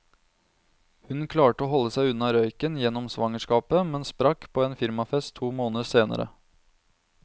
Hun klarte å holde seg unna røyken gjennom svangerskapet, men sprakk på en firmafest to måneder senere.